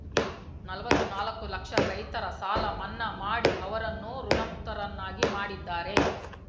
ನಲ್ವತ್ನಾಲ್ಕು ಲಕ್ಷ ರೈತರ ಸಾಲ ಮನ್ನಾ ಮಾಡಿ ಅವರನ್ನು ಋಣಮುಕ್ತರನ್ನಾಗಿ ಮಾಡಿದ್ದಾರೆ